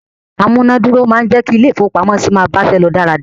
Amúná-dúró máa ń jẹ́ kí ilé-ìfowópamọ́sí máa báṣẹ́ lọ dáradára.